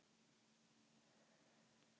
Það gerist iðulega.